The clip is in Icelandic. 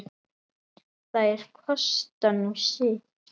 Þær kosta nú sitt.